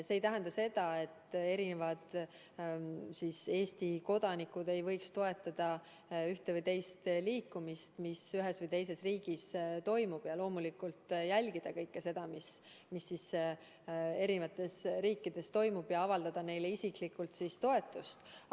See ei tähenda seda, et Eesti kodanikud ei võiks toetada ühte või teist liikumist, mis ühes või teises riigis toimub, ja loomulikult jälgida kõike seda, mis eri riikides toimub, ja avaldada neile isiklikult toetust.